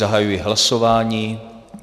Zahajuji hlasování.